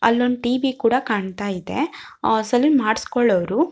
ಅಲ್ಲೊಂದು ಟಿವಿ ಕೂಡ ಕಾಣತ್ತಾ ಇದೆ ಸಲೂನ್ ಮಾಡ್ಸಕೊಳ್ಳೋರು --